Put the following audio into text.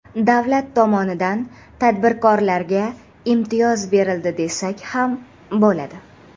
Davlat tomonidan tadbirkorlarga imtiyoz berildi desak ham bo‘ladi.